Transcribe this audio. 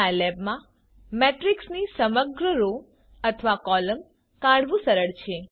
સાઈલેબમાં મેટ્રિક્સની સમગ્ર રો અથવા કોલમ કાઢવું સરળ છે